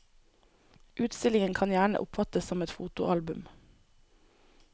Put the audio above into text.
Utstillingen kan gjerne oppfattes som et fotoalbum.